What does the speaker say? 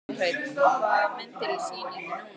Kjartan Hreinn: Hvaða mynd er í sýningu núna?